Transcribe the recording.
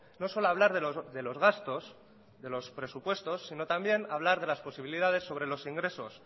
no solo hablar de los gastos de los presupuestos sino también hablar de las posibilidades sobre los ingresos